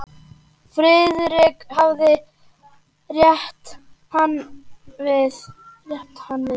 Friðrik hafði rétt hann við.